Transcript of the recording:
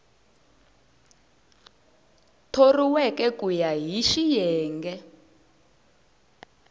thoriweke ku ya hi xiyenge